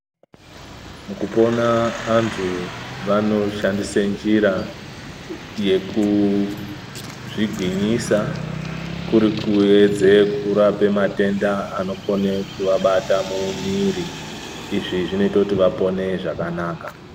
Mukupona antu vanoshandise njira yekuzvigwinyisa, kurikuedze kurape matenda anokone kuwabata mumwiri. Izvi zvinoita kuti vapone zvakanaka.